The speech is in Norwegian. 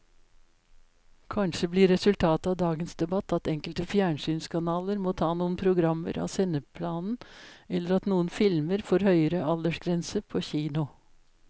Kanskje blir resultatet av dagens debatt at enkelte fjernsynskanaler må ta noen programmer av sendeplanen eller at noen filmer får høyere aldersgrense på kino.